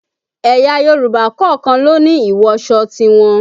Ẹ̀yà Yorùbá kọ̀ọ̀kan ló ní ìwọsọ tiwọn